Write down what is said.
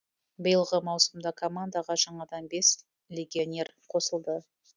биылғы маусымда командаға жаңадан бес легионер қосылды